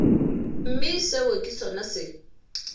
mme seo ke sona se